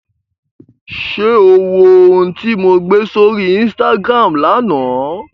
Ṣé o wo ohun tí mo gbé sórí Instagram lánàá?